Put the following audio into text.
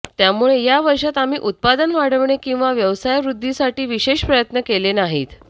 त्यामुले या वर्षात आम्ही उत्पादन वाढवणे किंवा व्यवसायवृद्धीसाठी विशेष प्रयत्न केले नाहीत